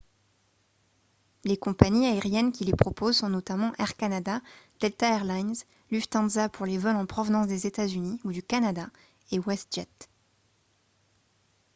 les compagnies aériennes qui les proposent sont notamment air canada delta air lines lufthansa pour les vols en provenance des états-unis ou du canada et westjet